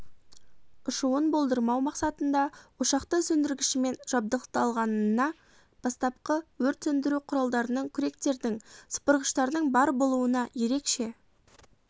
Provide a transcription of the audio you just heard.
ұшуын болдырмау мақсатында ошақты сөндіргішімен жабдықталғанына бастапқы өрт сөндіру құралдарының күректердің сыпырғыштардың бар болуына ерекше